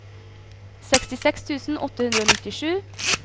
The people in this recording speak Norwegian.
sekstiseks tusen åtte hundre og nittisju